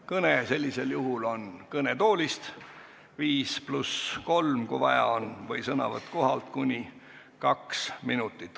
Kõne on sellisel juhul kõnetoolist 5 + 3 minutit, kui vaja on, või sõnavõtt kohapealt kuni 2 minutit.